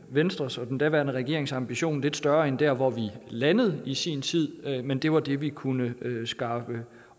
venstres og den daværende regerings ambition lidt større end der hvor vi landede i sin tid men det var det vi kunne skaffe